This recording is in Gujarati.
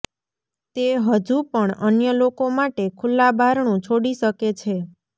તે હજુ પણ અન્ય લોકો માટે ખુલ્લા બારણું છોડી શકે છે